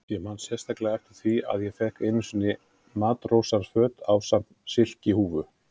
Ég man sérstaklega eftir því að ég fékk einu sinni matrósaföt ásamt silkihúfu.